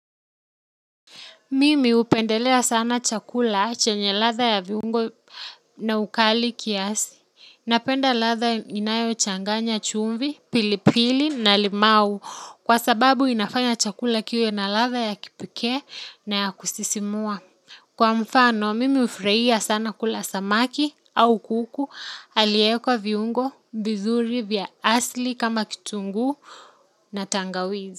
Mimi hupendelea sana chakula chenye ladha ya viungo na ukali kiasi. Napenda ladha ninayo changanya chumvi, pilipili na limau kwa sababu inafanya chakula kiwe na ladha ya kipekee na ya kusisimua. Kwa mfano, mimi hufurahia sana kula samaki au kuku aliewekwa viungo, vizuri vya asili kama kitungu na tangawizi.